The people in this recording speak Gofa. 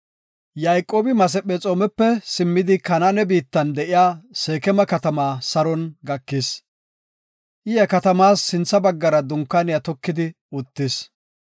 Yayqoobi Masephexoomepe simmidi Kanaane biittan de7iya Seekema katama saron gakis. I he katamas sintha baggara dunkaane tokidi uttis.